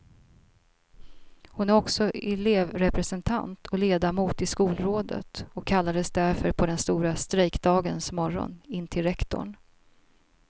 Hon är också elevrepresentant och ledamot i skolrådet och kallades därför på den stora strejkdagens morgon in till rektorn.